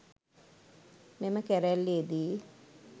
මෙම කැරැල්ලේ දී